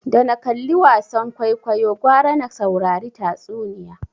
Da na kalli wasan kwaikwayo gwara na saurari tatsuniya